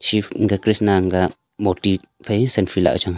krishna an ka moti phai selfie lah ka chang a.